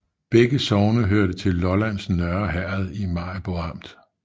Begge sogne hørte til Lollands Nørre Herred i Maribo Amt